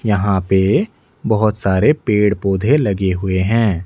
यहां पे बहोत सारे पेड़ पौधे लगे हुए है।